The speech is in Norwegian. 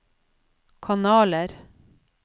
kanaler